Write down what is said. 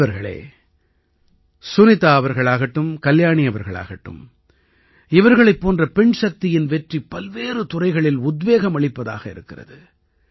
நண்பர்களே சுனிதா அவர்களாகட்டும் கல்யாணி அவர்களாகட்டும் இவர்களைப் போன்ற பெண்சக்தியின் வெற்றி பல்வேறு துறைகளில் உத்வேகமளிப்பதாக இருக்கிறது